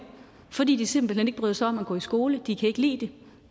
fordi de simpelt hen ikke bryder sig om at gå i skole de kan ikke lide det